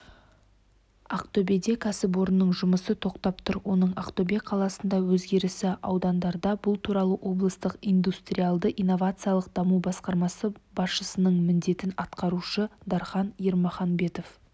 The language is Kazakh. ақтөбеде кәсіпорынның жұмысы тоқтап тұр оның ақтөбе қаласында өзгесі аудандарда бұл туралы облыстық индустриялды-инновациялық даму басқармасы басшысының міндетін атқарушы дархан ермағанбетов